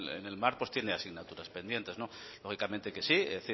en el mar tiene asignaturas pendientes lógicamente que sí es